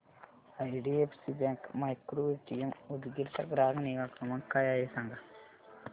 IDFC bank micro ATM Udgir चा ग्राहक निगा क्रमांक काय आहे सांगा